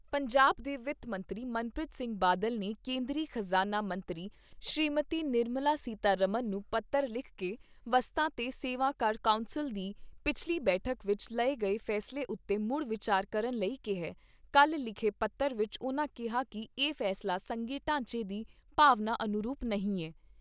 ਪੰਜਾਬ ਦੇ ਵਿੱਤ ਮੰਤਰੀ ਮਨਪ੍ਰੀਤ ਸਿੰਘ ਬਾਦਲ ਨੇ ਕੇਂਦਰੀ ਖਜਾਨਾ ਮੰਤਰੀ ਸ੍ਰੀਮਤੀ ਨਿਰਮਲਾ ਸੀਤਾਰਮਨ ਨੂੰ ਪੱਤਰ ਲਿਖ ਕੇ ਵਸਤਾਂ ਤੇ ਸੇਵਾ ਕਰ ਕੌਂਸਲ ਦੀ ਪਿਛਲੀ ਬੈਠਕ ਵਿਚ ਲਏ ਗਏ ਫੈਸਲੇ ਉਤੇ ਮੁੜ ਵਿਚਾਰ ਕਰਨ ਲਈ ਕਿਹਾ ਕੱਲ੍ਹ ਲਿਖੇ ਪੱਤਰ ਵਿਚ ਉਨ੍ਹਾਂ ਕਿਹਾ ਕਿ ਇਹ ਫੈਸਲਾ ਸੰਘੀ ਢਾਂਚੇ ਦੀ ਭਾਵਨਾ ਅਨੁਰੂਪ ਨਹੀਂ ਐ।